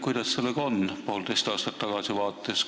Kuidas sellega nüüd on, poolteist aastat hiljem tagasi vaadates?